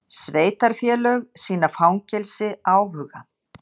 Sveitarfélög sýna fangelsi áhuga